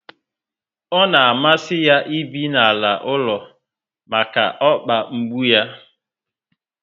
Ọ na amasi ya ibi n'ala ụlọ maka okpa mgbu yá